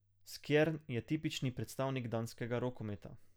Skjern je tipični predstavnik danskega rokometa.